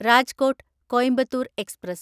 Rajkot Coimbatore express